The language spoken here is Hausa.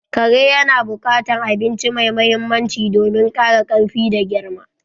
Kare yana bukatan abinci mai mahimmanci domin kara karfi da girma